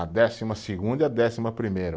A décima segunda e a décima primeira.